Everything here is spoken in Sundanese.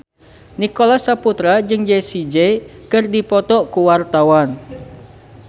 Nicholas Saputra jeung Jessie J keur dipoto ku wartawan